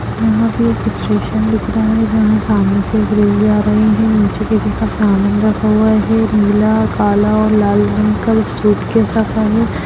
यहाँ पे एक स्टेशन दिख रहा है यहां सामने से एक रेलवे आ रहे है नीचे किसी का सामान रखा हुआ है नीला काला और लाल रंग का सूटकेश रखा है।